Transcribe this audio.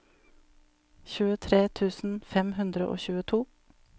tjuetre tusen fem hundre og tjueto